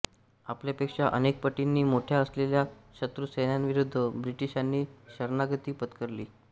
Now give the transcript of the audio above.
आपल्यापेक्षा अनेकपटींनी मोठ्या असलेल्या शत्रूसैन्याविरुद्ध ब्रिटिशांनी शरणागती पत्करली